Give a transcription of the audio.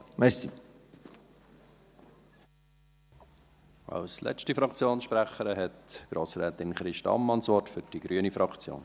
Als letzte Fraktionssprecherin hat Grossrätin Christa Ammann das Wort für die grüne Fraktion.